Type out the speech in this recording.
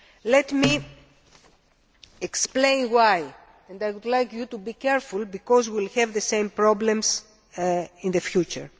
Let me explain why and I would like you to be attentive because we will have the same problems in the future.